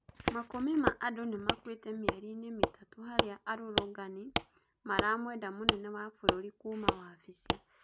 Makũmi ma andũ nimakuite mieri ini mitatũ haria arũrũgani maramwenda mũnene wa bũrũri kuuma wabici